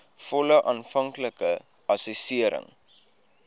volle aanvanklike assessering